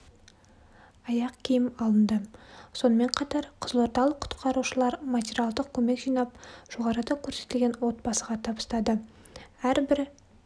аяқ киім алынды сонымен қатар қызылордалық құтқарушылар материалдық көмек жинап жоғарыда көрсетілген отбасыға табыстады әрбір